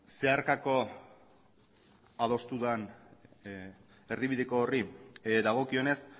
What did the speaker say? zeharkako adostu den erdibideko horri dagokionez